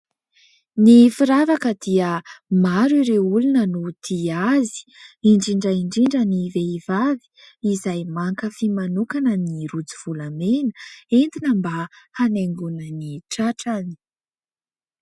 Ny firavaka dia maro ireo olona no tia azy indrindra indrindra ny vehivavy izay mankafy manokana ny rojo volamena, entina mba hanaingona ny tratrany.